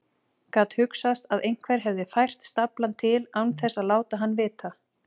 Gat hugsast að einhver hefði fært staflann til án þess að láta hann vita?